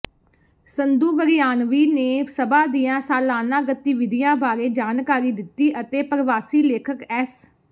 ਸੰਧੂ ਵਰਿਆਣਵੀ ਨੇ ਸਭਾ ਦੀਆਂ ਸਾਲਾਨਾ ਗਤੀਵਿਧੀਆਂ ਬਾਰੇ ਜਾਣਕਾਰੀ ਦਿੱਤੀ ਅਤੇ ਪਰਵਾਸੀ ਲੇਖਕ ਐਸ